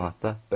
Portmanatda.